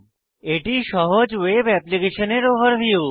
এটি সহজ ওয়েব অ্যাপ্লিকেশনের ওভারভিউ